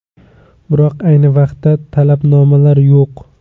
Biroq ayni vaqtda talabnomalar yo‘q.